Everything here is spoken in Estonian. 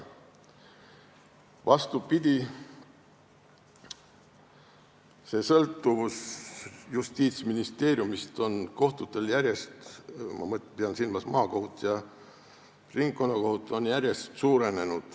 Vastupidi, kohtute sõltuvus Justiitsministeeriumist on järjest suurenenud, ma pean silmas maakohut ja ringkonnakohut.